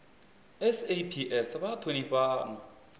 saps vha a thonifha na